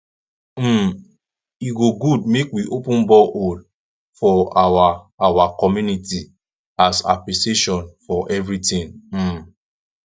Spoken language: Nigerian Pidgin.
um e go good make we open borehole for our our community as appreciation for everything um